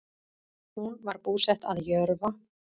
Hún var búsett að Jörfa